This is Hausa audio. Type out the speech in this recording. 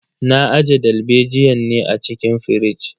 Na aje dalbejiyan ne a cikin firij.